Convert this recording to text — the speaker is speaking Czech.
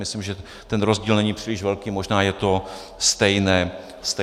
Myslím, že ten rozdíl není příliš velký, možná je to stejné číslo.